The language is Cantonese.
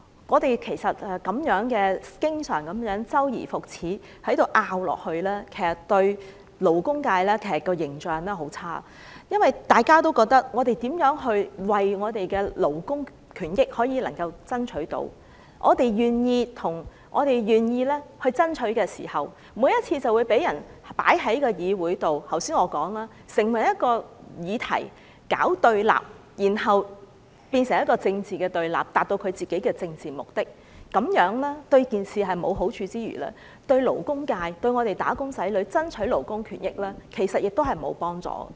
我們經常這樣周而復始地爭辯，其實給勞工界很差的印象，因為大家都覺得無論我們如何爭取勞工權益，我們願意爭取時，每次總會被人放在議會中成為一個議題，搞對立，然後變成政治對立，達到其政治目的，這樣對事情沒有好處之餘，對於為勞工界和"打工仔女"爭取勞工權益，其實亦沒有幫助。